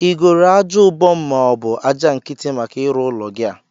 Igoro aja ubom mọọbụ aja nkiti maka ịrụ ụlọ gi a?